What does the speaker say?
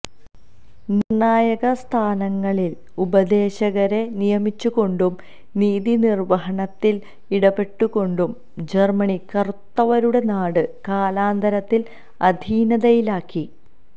നിര്ണ്ണായക സ്ഥാനങ്ങളില് ഉപദേശകരെ നിയമിച്ചുകൊണ്ടും നീതിനിര്വ്വഹണത്തില് ഇടപെട്ടുകൊണ്ടും ജര്മ്മനി കറുത്തവരുടെ നാട് കാലാന്തരത്തില് അധീനതയിലാക്കി